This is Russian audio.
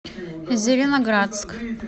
зеленоградск